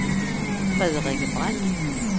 Frederikke Brandt